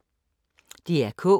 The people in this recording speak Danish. DR K